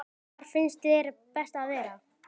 Hvar finnst þér best að vera?